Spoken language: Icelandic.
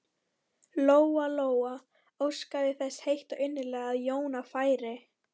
Lóa Lóa óskaði þess heitt og innilega að Jóna færi.